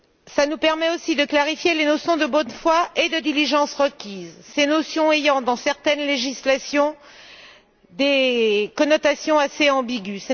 Cela nous permet aussi de clarifier les leçons de bonne foi et de diligence requises, ces notions ayant dans certaines législations des connotations assez ambiguës.